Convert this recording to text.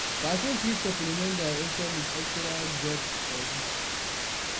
Person fit suppliment their income with extra job or gigs